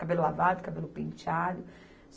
Cabelo lavado, cabelo penteado.